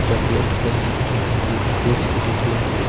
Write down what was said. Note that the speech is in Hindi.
चॉकलेट के हैं ग्लूकोज के डिब्बे हैं।